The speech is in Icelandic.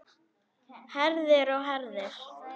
Herðir og herðir.